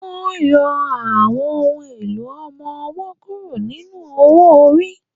Wọ́n yọ àwọn ohùn èlò ọmọ-ọwọ́ kúrò nínú owó-orí